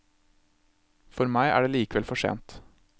For meg er det likevel for sent.